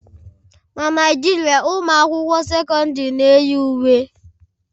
Na Naijiria, ụmụ akwụkwọ sekọndrị na-eyi uwe.